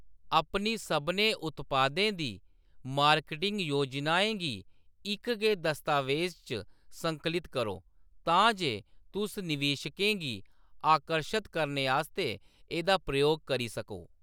अपनी सभनें उत्पादें दी मार्केटिंग योजनाएं गी इक गै दस्तावेज़ च संकलित करो तां जे तुस निवेशकें गी आकर्शत करने आस्तै एह्‌‌‌दा प्रयोग करी सको।